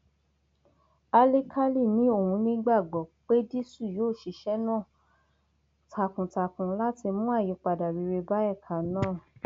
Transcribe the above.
álìkálì ni òun nígbàgbọ pédísù yóò ṣiṣẹ náà náà takuntakun láti mú àyípadà rere bá ẹka náà